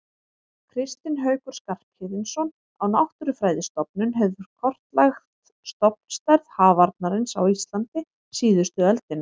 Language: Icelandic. Kristinn Haukur Skarphéðinsson á Náttúrufræðistofnun hefur kortlagt stofnstærð hafarnarins á Íslandi síðustu öldina.